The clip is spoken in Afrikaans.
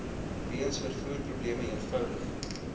weens vervoerprobleme eenvoudig